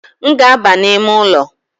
M ga-aba n’ime ụlọ